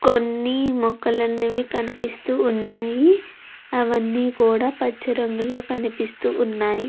కొన్ని మొక్కలనేవి కనిపిస్తూ ఉన్నవి అవన్నీ కూడా పచ్చ రంగులో కనిపిస్తు ఉన్నాయి.